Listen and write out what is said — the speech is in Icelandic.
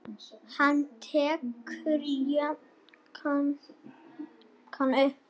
Hann tekur jakkann upp.